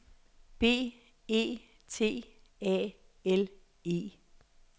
B E T A L E